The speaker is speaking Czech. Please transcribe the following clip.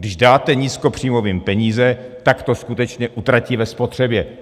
Když dáte nízkopříjmovým peníze, tak to skutečně utratí ve spotřebě.